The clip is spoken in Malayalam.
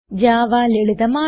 ജാവ ലളിതമാണ്